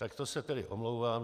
Tak to se tedy omlouvám.